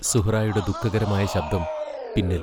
സുഹ്റായുടെ ദുഃഖകരമായ ശബ്ദം പിന്നിൽ.